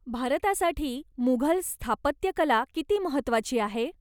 भारतासाठी मुघल स्थापत्यकला किती महत्त्वाची आहे?